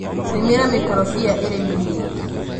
rĩmĩra mĩkorobia ĩrĩ mĩnini .